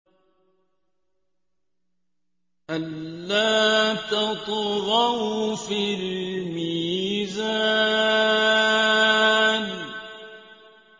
أَلَّا تَطْغَوْا فِي الْمِيزَانِ